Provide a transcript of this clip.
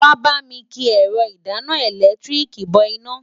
Wàá bá mi ki ẹ̀rọ ìdáná ẹ̀lẹ́tíríìkì bọ iná.